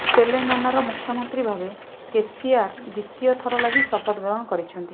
ତେଲେଙ୍ଗାନାର ମୁଖ୍ୟମନ୍ତ୍ରୀ ଭାବେ କେସିଆର୍ ଦ୍ୱିତୀୟ ଥର ଲାଗି ଶପଥ ଗ୍ରହଣ କରିଛନ୍ତି